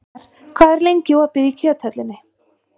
Per, hvað er lengi opið í Kjöthöllinni?